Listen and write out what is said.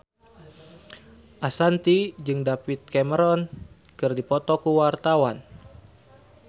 Ashanti jeung David Cameron keur dipoto ku wartawan